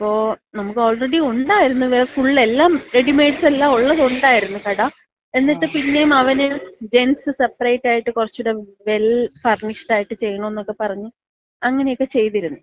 അപ്പോ നമുക്ക് ആൾറെഡി ഒണ്ടാരിന്ന്. ഫുള്ള്. എല്ലാം റെഡിമേഡ്സ് എല്ലാമൊള്ളത് ഒണ്ടായിരിന്ന് കട. എന്നിട്ട് പിന്നേം അവന് ജെൻസ് സെപ്പറേറ്റ് ആയിട്ട് കൊറച്ചൂട വെൽ ഫർനിഷ്ഡ് ചെയ്യണമെന്നക്ക പറഞ്ഞ് അങ്ങനെക്കെ ചെയ്തിരുന്ന് .